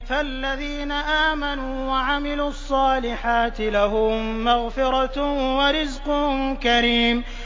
فَالَّذِينَ آمَنُوا وَعَمِلُوا الصَّالِحَاتِ لَهُم مَّغْفِرَةٌ وَرِزْقٌ كَرِيمٌ